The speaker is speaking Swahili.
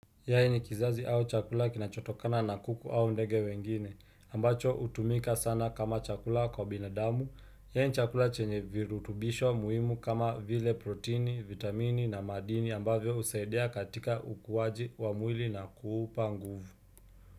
Yai ni kizazi au chakula kinachotokana na kuku au ndege wengine, ambacho hutumika sana kama chakula kwa binadamu, yai chakula chenye virutubisho muhimu kama vile proteini, vitamini na madini ambavyo husaidia katika ukuwaji wa mwili na kuupa nguvu.